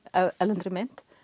erlendri mynt